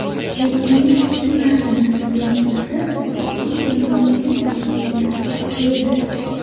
Yakuniy ssenariylar loyihalari keng jamoatchilik muhokamasiga qo‘yiladi.